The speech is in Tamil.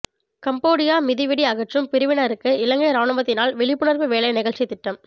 கம்போடியா மிதிவெடி அகற்றும் பிரிவினருக்கு இலங்கை இராணுவத்தினால் விழிப்புணர்வு வேலை நிகழ்ச்சி திட்டம்